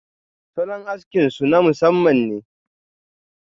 salon aski su na masamman ne.